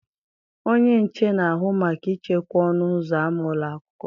Onye nche na-ahụ maka ichekwa ọnụ ụzọ ámá ụlọ akwụkwọ.